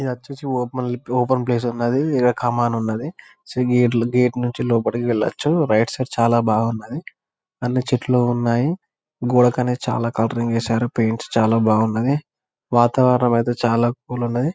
ఇది వచ్చేసి open place ఉన్నాది. ఇదా కామన్ ఉన్నాది సో గేట్లు గేట్ నుంచి లోపాలకి వెళ్లొచ్చు రైట్ సైడ్ చాలా బాగున్నాది. అన్ని చెట్లు ఉన్నాయి గోడకని చాలా కలరింగ్ చేసారు. పెయింట్స్ చాలా బాగున్నాయి వాతావరణం ఐతే చాలా కూల్ ఉన్నాయి.